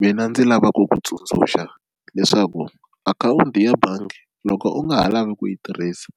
mina ndzi lava ku ku tsundzuxa leswaku akhawunti ya bangi loko u nga ha lavi ku yi tirhisa